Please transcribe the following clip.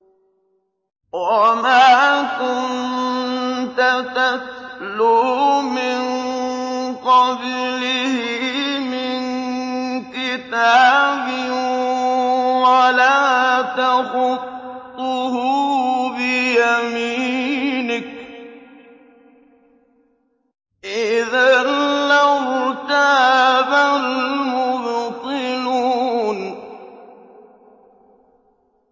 وَمَا كُنتَ تَتْلُو مِن قَبْلِهِ مِن كِتَابٍ وَلَا تَخُطُّهُ بِيَمِينِكَ ۖ إِذًا لَّارْتَابَ الْمُبْطِلُونَ